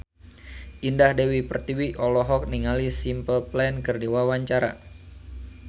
Indah Dewi Pertiwi olohok ningali Simple Plan keur diwawancara